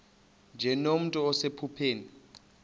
nje nomntu osephupheni